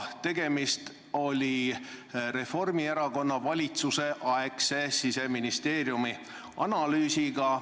Tegemist oli Reformierakonna valitsuse aegse Siseministeeriumi analüüsiga.